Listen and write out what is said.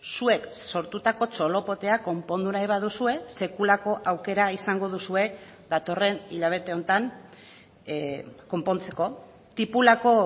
zuek sortutako txolopotea konpondu nahi baduzue sekulako aukera izango duzue datorren hilabete honetan konpontzeko tipulako